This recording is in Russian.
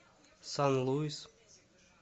сан луис